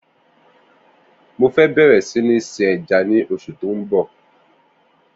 Mó fè̀ bẹrẹ si ni sin èjá ni óṣú tó n bọ